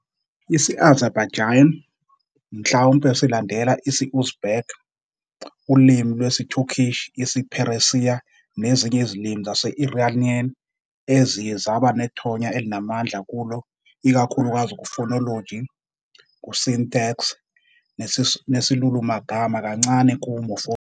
Isi-Azerbaijani, mhlawumbe silandela isi-Uzbek, ulimi lwesiTurkic isiPheresiya nezinye izilimi zase-Iranian eziye zaba nethonya elinamandla kulo-ikakhulukazi ku- phonology, syntax, nesilulumagama, kancane ku-morphology.